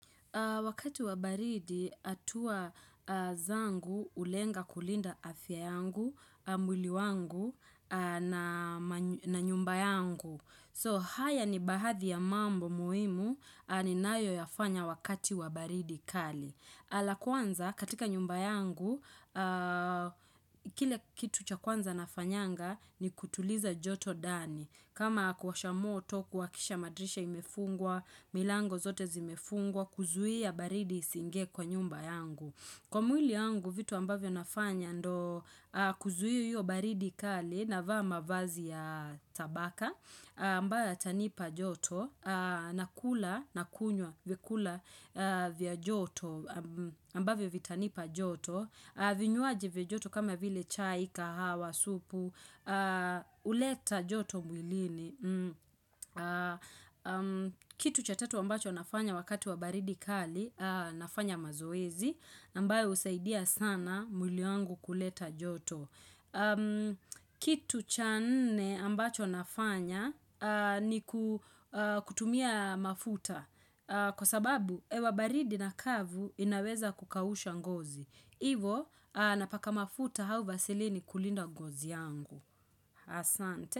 Wakati wa baridi, hatua zangu hulenga kulinda afya yangu, mwili wangu na nyumba yangu. So, haya ni baadhi ya mambo muhimu, ninayoyafanya wakati wa baridi kali. La kwanza, katika nyumba yangu, kile kitu cha kwanza nafanyanga, ni kutuliza joto dani. Kama kuwasha moto, kuhakikisha madrisha imefungwa, milango zote zimefungwa, kuzuia baridi isiinge kwa nyumba yangu. Kwa mwili yangu, vitu ambavyo nafanya ndo kuzuiia hio baridi kali naava mavazi ya tabaka, ambayo yatanipa joto, nakula, nakunywa, vyakula vya joto, ambavyo vitanipa joto. Vinywaji vya joto kama vile chai, kahawa, supu uleta joto mwilini Kitu cha tatu ambacho nafanya wakati wa baridi kali nafanya mazoezi ambayo husaidia sana mwili wangu kuleta joto Kitu cha nne ambacho nafanya ni kutumia mafuta Kwa sababu hewa baridi na kavu inaweza kukausha ngozi Ivo, napaka mafuta au vasilini kulinda ngozi yangu. Asante.